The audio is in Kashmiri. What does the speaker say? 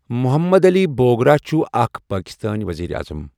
محمد علی بوگرہ چھُ اَکھ پٲکِستٲنؠ ؤزیٖرِ اَعظَم.